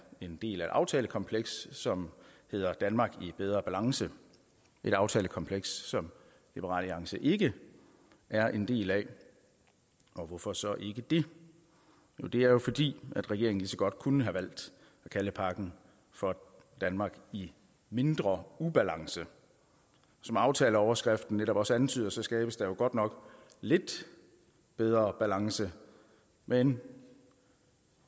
en del af aftalekomplekset som hedder danmark i bedre balance et aftalekompleks som liberal alliance ikke er en del af og hvorfor så ikke det det er jo fordi regeringen lige så godt kunne have valgt at kalde pakken for danmark i mindre ubalance som aftaleoverskriften netop også antyder skabes der godt nok lidt bedre balance men